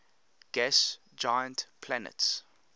gas giant planets